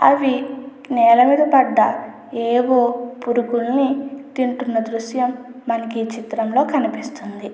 అవి నేలమీద పడ్డ ఏవో పురుగుల్ని తింటుంన దృశ్యం మనకి చిత్రంలో కనిపిస్తుంది.